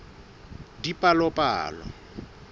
dipalopalo